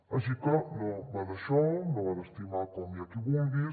així que no va d’això no va d’estimar com i qui vulguis